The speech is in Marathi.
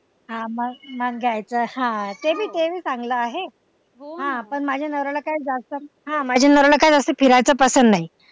हा मग घ्यायचं हा ते भी ते भी चांगलं आहे पण माझ्या नवऱ्याला काय जास्त हा माझ्या नवऱ्याला काय जास्त फिरायचं पसंत नाही.